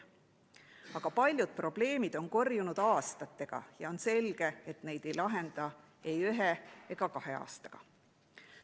Aga paljud probleemid on korjunud aastatega ja on selge, et neid ei lahenda ei ühe ega kahe aastaga.